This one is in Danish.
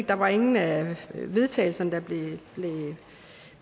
der var ingen af vedtagelserne der